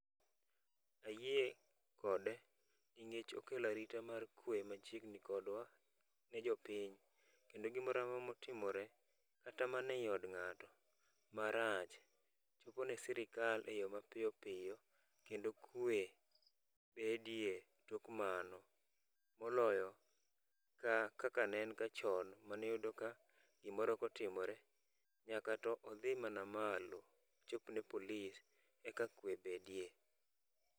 Ayie kode ningech okelo arita mar kwe machiegni kodwa ne jopiny. Kendo gimoramora motimore kata mana ei od ng'ato marach, chopo ne sirikal e yo mapiyo piyo, kendo kwe bedie tok mano. Moloyo ka kaka ne en ga chon maniyudo ka gimoro kotimore, nyaka to odhi mana malo ochopne polis eka kwe bedie.